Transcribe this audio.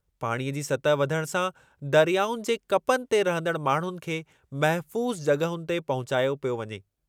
पाणीअ जी सतहि वधण सां दरियाउनि जे कपनि ते रहंदड़ु माण्हुनि खे महिफ़ूज़ु जॻ्हुनि ते पहुचायो पियो वञे।